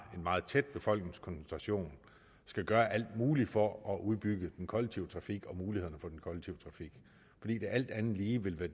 en meget tæt befolkningskoncentration skal gøre alt muligt for at udbygge den kollektive trafik og mulighederne for den kollektive trafik fordi det alt andet lige vil være